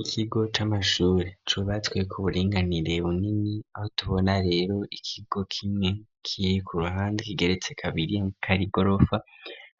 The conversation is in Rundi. Ikigo c'amashuri cubatswe ku buringanire bunini aho tubona rero ikigo kimwe kiri ku ruhande kigeretse kabiri nkeka ari gorofa